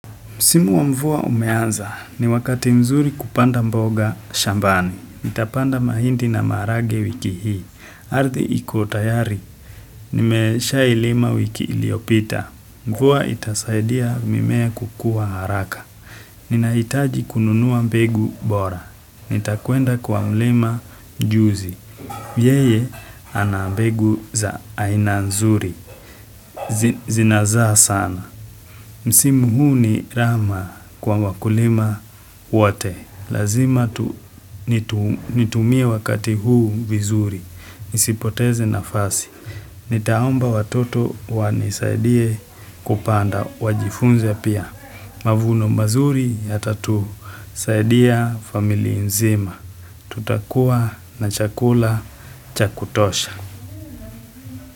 Msimu wa mvua umeanza ni wakati mzuri kupanda mboga shambani. nItapanda mahindi na maharagwe wiki hii. Arddi ikotayari, nimesha ilima wiki iliopita. Mvua itasaidia mimea kukua haraka. Ninahitaji kununuwa mbegu bora. Nitakwenda kwa mlima juzi. Yeye anambegu za aina nzuri. Zinazaa sana. Msimu huu ni rama kwa wakulima wote, lazima nitumie wakati huu vizuri, nisipoteze nafasi, nitaomba watoto wanisaidie kupanda wajifunze pia. Mavuno mazuri yata tu saidia familia nzima, tutakuwa na chakula chakutosha.